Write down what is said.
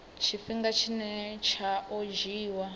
tshifhinga tshine tsha o dzhiiwa